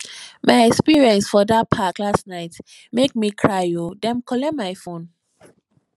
my experience for dat park last night make me cry o dem collect my fone